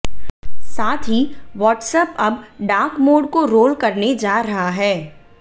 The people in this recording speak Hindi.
साथ ही वॉट्सऐप अब डार्क मोड को रोल करने जा रहा है